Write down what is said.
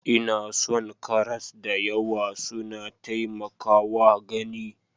Ina son karas da yawa, suna taimakawa gani.